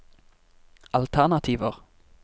alternativer